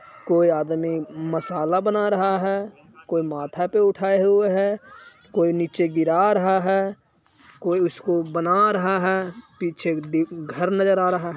कोई आदमी मसाला बना रहा है। कोई माथा पे उठाया हुए है। कोई नीचे गिरा रहा है। कोई उसको बना रहा है। पीछे दी-- घर नजर आ रहा है।